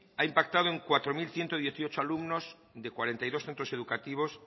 ha impactado en cuatro mil ciento dieciocho alumnos de cuarenta y dos centros educativos